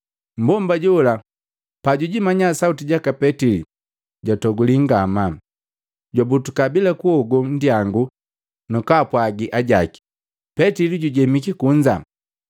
Mmbomba jola pajujimanya Sauti jaka Petili jwatoguli ngamaa, jwabutuka bila kuogo nnyangu na kwaapwagi ajaki, Petili jujemiki kunza.